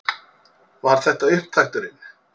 Var þetta upptakturinn?